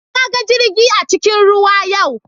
Na ga jirgi a cikin ruwa yau.